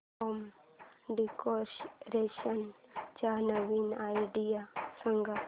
home decoration च्या नवीन idea सांग